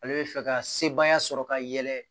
Ale bɛ fɛ ka sebaaya sɔrɔ ka yɛlɛ